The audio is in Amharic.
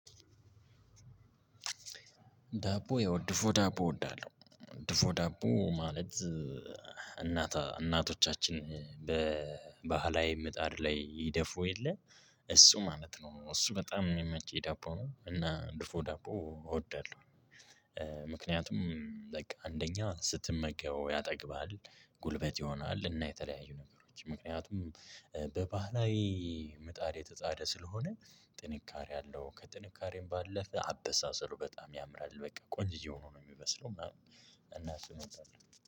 ዳቦ ያው ድፎ ዳቦ እወዳለሁ ድፎ ዳቦ ማለት እናት እናቶቻችን በባህላዊ ምጣድ ላይ ይደፉ የለ። እሱ ማለት ነው እሱ በጣም የሚመች የዳቦ ነው። እና ድፎ ዳቦ እወዳለሁ። ምክንያቱም አንደኛ ስትመገበው ያጠግባል። ጉልበት ይሆናል እና የተለያዩ ነገሮች ምክንያቱም በባህላዊ ምጣድ የተጣደ ስለሆነ። ጥንካሬ አለው ከጥንካሬም ባለፈ አበሳሰሉ በጣም ያምራል። በቃ ቆንጆ ሆኖ ነው የሚበስለው ምናምን። እና እሱን እወዳለው